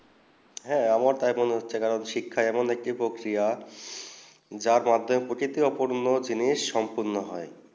হেঁ আমার টিপুন হচ্য়ে শিক্ষা এমন একটি প্রক্রিয়া যার মাধ্যমেই প্রকৃতি অপূর্ণ জিনিস পূর্ণ হয়ে